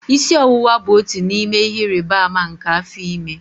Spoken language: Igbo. Isi ọwụwa bụ otu n'ime ihe ịrịba ama nke afọ ime